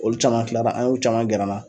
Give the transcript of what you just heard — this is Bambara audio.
Olu caman tilara an y'u caman gɛr'an na